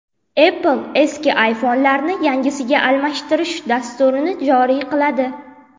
Apple eski iPhone’larni yangisiga almashtirish dasturini joriy qiladi.